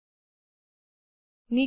આપણે surface material માટે setting જોશું